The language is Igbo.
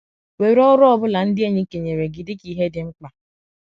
Were ọrụ ọ bụla ndị enyi kenyere gị dị ka ihe dị mkpa.